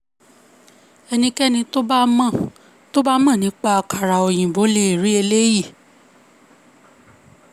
ẹnikẹ́ni tó bá mọ tó bá mọ nípa àkàrà òyìnbó le rí eléyìí.